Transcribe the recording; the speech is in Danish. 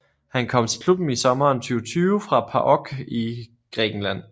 Han kom til klubben i sommeren 2020 fra PAOK i Grækenland